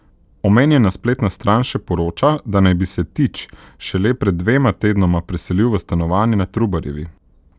Omenjena spletna stran še poroča, da naj bi se Tič šele pred dvema tednoma preselil v stanovanje na Trubarjevi.